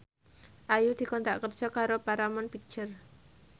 Ayu dikontrak kerja karo Paramount Picture